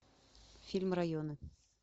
фильм районы